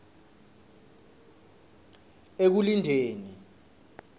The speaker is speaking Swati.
ekulindeni